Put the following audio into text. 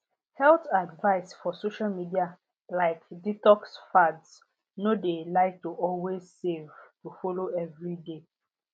health advice for social media like detox fads no de like to always save to follow every dey